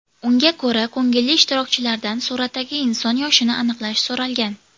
Unga ko‘ra ko‘ngilli ishtirokchilardan suratdagi inson yoshini aniqlash so‘ralgan.